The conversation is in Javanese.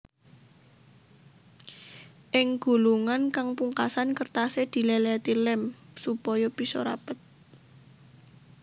Ing gulungan kang pungkasan kertasé dilèlèti lém supaya bisa rapet